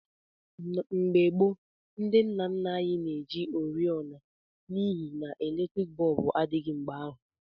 Mgbe gboo ndị nna nna anyị na-eji oriọna n'ihi n'eletriiki bọọbụ adịghị mgbe ahụ.